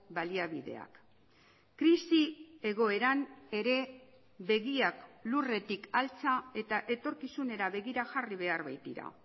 baliabideak krisi egoeran ere begiak lurretik altxa eta etorkizunera begira jarri behar baitira